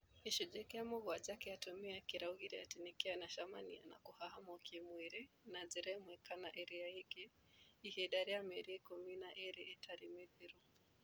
Gĩcunjĩ kĩa mũgwanja kĩa atumia kĩaugire atĩ kĩanacemania na kũhahamwo kĩ-mwĩrĩ na njĩra ĩmwe kana ĩrĩa ĩngĩ ihinda rĩa mĩeri ikũmi na ĩĩrĩ ĩtarĩ mĩthiru